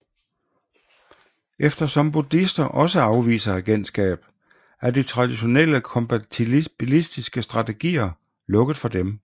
Eftersom buddhister også afviser agentskab er de traditionelle kompatibilistiske strategier lukket for dem